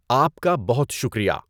آپ کا بہت شکریہ!